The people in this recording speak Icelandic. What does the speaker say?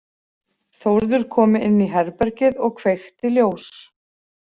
Þórður kom inn í herbergið og kveikti ljós.